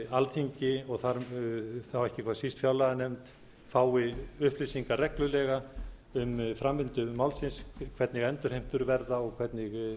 alþingi og þá ekki hvað síst fjárlaganefnd fái upplýsingar reglulega um framvindu málsins hvernig endurheimtur verða og hvernig